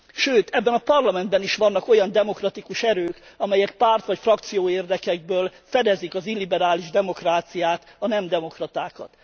Sőt, ebben a Parlamentben is vannak olyan demokratikus erők, amelyek párt vagy frakcióérdekekből fedezik az illiberális demokráciát, a nem demokratákat.